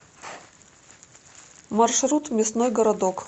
маршрут мясной городок